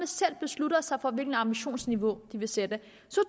selv beslutter sig for hvilket ambitionsniveau de vil sætte